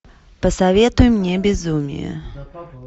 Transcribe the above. посоветуй мне безумие